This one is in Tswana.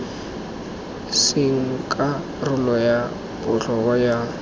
seng karolo ya botlhokwa ya